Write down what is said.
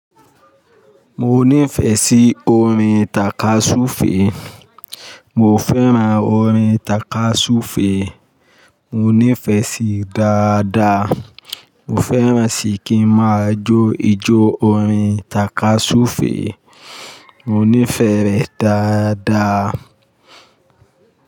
Mo nífẹ̀ẹ́ sí orin tàkasúfèé. Mo fẹ́ràn orin tàkasúfèé. Mo nífẹ̀ẹ́ sí dáadáa. Mo fẹ́ràn ṣíkín máa jó ijó orin tàkasúfèé. Mo nífẹ̀ẹ́ rẹ̀ dáadáa.